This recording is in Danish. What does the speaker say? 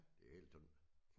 Det helt sådan